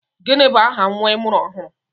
Gịnị bụ aha nnwa I mụrụ ọhụrụ?